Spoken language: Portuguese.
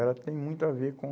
Ela tem muito a ver com...